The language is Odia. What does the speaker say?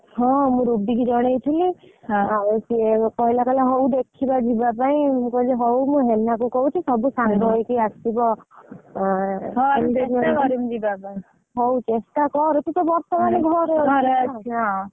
ହଁ ମୁଁ ରୁବି କି ଜଣେଇଥିଲି ମୁଁ କହିଲି ହଉ ମୁଁ ହେନା କୁ କହୁଛି ସବୁ ସାଙ୍ଗ ହେଇକି ଆସିବ ହଉ ତୁ ଚେଷ୍ଟା କର ବର୍ତ୍ତମାନ ତ ଘରେ ଅଛୁ ।